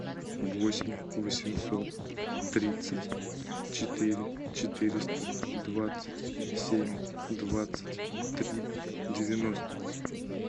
восемь восемьсот тридцать четыре четыреста двадцать семь двадцать три девяносто